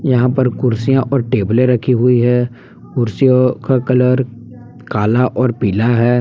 यहां पर कुर्सियां और टेबलें रखी हुई है कुर्सियों का कलर काला और पीला है।